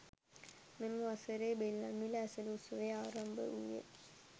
මෙම වසරේ ද බෙල්ලන්විල ඇසළ උත්සවය ආරම්භ වූයේ